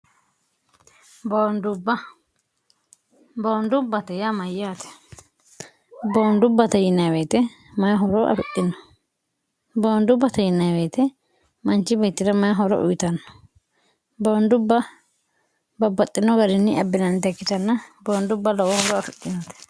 boondubbate yaa mayyaate boondubbate yinaaweete mayihoro afidhino boondubba tayinaaweete manchi beeti'ra mayihoro uyitanno boondubba babbaxxino garinni abbinannite kkitanna boondubba lowoo horo afidhinite